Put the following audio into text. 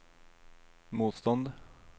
motstånd